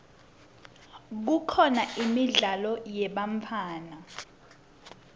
kukhona imidlalo yebantfwana